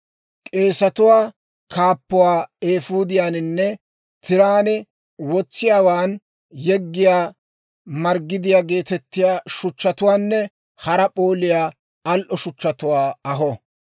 K'eesatuwaa kaappuwaa eefuudiyaaninne tiraan wotsiyaawaan yeggiyaa margidiyaa geetettiyaa shuchchatuwaanne hara p'ooliyaa al"o shuchchatuwaa aho.